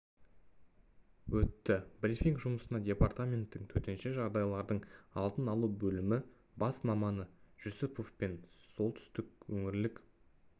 өтті брифинг жұмысына департаменттің төтенше жағдайлардың алдын алу бөлімі бас маманы жүсіпов пен солтүстік өңірлік